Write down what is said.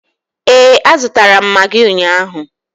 Ee, a zụtara m magị ụnyaahụ.